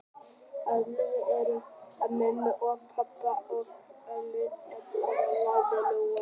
Við erum ellefu með mömmu og pabba og ömmu og afa, sagði Lóa-Lóa.